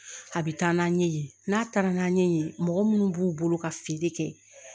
A bɛ taa n'a ɲɛ ye n'a taara n'a ɲɛ ye mɔgɔ munnu b'u bolo ka feere kɛ